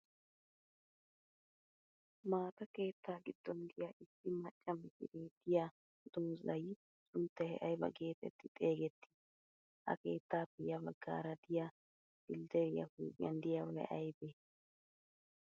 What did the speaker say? Maata keettaa giddon diya issi macca mishsiree diya dozzay sunttay ayiba geetetti xeegettii? Ha keettaappe ya baggaara diya flderiyaa huuphiyan diyaabay ayibee?